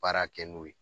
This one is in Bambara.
Baara kɛ n'o ye